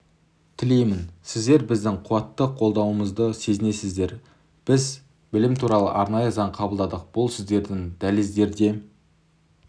тілеймін сіздер біздің қуатты қолдауымызды сезінесіздер біз білім туралы арнайы заң қабылдадық бұл сіздердің дәліздерде